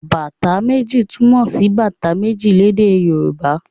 Bàtá méjì' túmọ̀ sí bàtà méjì lédè Yorùbá.